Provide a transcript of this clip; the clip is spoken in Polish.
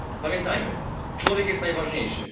Pamiętajmy, człowiek jest najważniejszy.